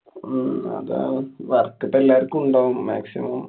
ഹും അതാണ്‌. work പ്പൊ എല്ലാര്‍ക്കും ഉണ്ടാവും. maximum